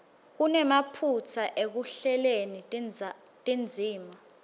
kunemaphutsa ekuhleleni tindzima